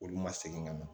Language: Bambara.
Olu ma segin ka na